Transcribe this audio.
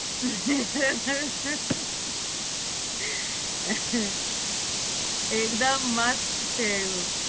એક્દમ મસ્ત છે એવું